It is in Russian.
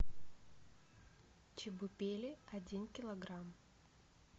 чебупели один килограмм